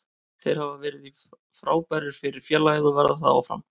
Þeir hafa verið frábærir fyrir félagið og verða það áfram.